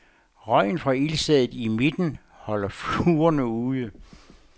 Røgen fra ildstedet i midten holder fluerne ude.